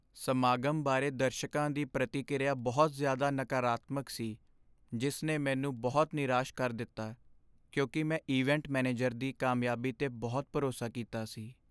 ਸਮਾਗਮ ਬਾਰੇ ਦਰਸ਼ਕਾ ਦੀ ਪ੍ਰਤੀਕਿਰਿਆ ਬਹੁਤ ਜ਼ਿਆਦਾ ਨਕਾਰਾਤਮਕ ਸੀ, ਜਿਸ ਨੇ ਮੈਨੂੰ ਬਹੁਤ ਨਿਰਾਸ਼ ਕਰ ਦਿੱਤਾ ਕਿਉਂਕਿ ਮੈਂ ਇਵੈਂਟ ਮੈਨੇਜਰ ਦੀ ਕਾਮਯਾਬੀ ਤੇ ਬਹੁਤ ਭਰੋਸਾ ਕੀਤਾ ਸੀ।